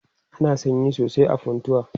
ana sanyi sosai a funtua